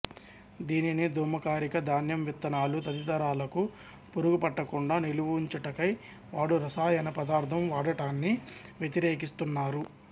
దీనిని ధూమకారిగా ధాన్యం విత్తనాలు తదితరాలకు పురుగు పట్టకుండ నిలవుంచుటకై వాడు రసాయన పదార్థం వాడటాన్ని వ్యతిరేకి స్తున్నారు